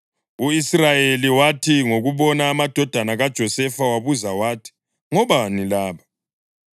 U-Israyeli wathi ngokubona amadodana kaJosefa wabuza wathi, “Ngobani laba?”